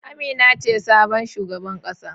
Amina ce sabon shugaban kasa.